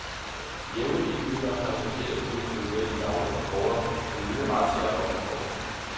Jævne indbyggere har chokeret kunnet følge med i daglige rapporter om nye razziaer og anholdelser.